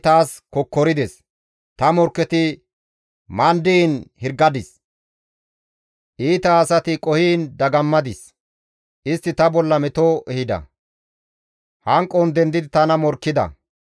Ta morkketi mandiin hirgadis; iita asati qohiin dagammadis; istti ta bolla meto ehida; hanqon dendidi tana morkkida.